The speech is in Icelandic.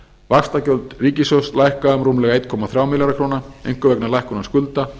vaxtagjöld ríkissjóðs lækka um rúmlega eitt komma þremur milljónum króna einkum vegna lækkunar skulda